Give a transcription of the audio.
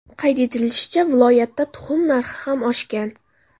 Qayd etilishicha, viloyatda tuxum narxi ham oshgan.